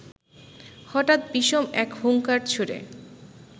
হঠাৎ বিষম এক হুংকার ছুঁড়ে